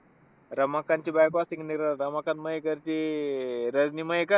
रमाकांतची बायको असते की नाही. रमाकांत मयेकर ची अं रजनी मयेकर.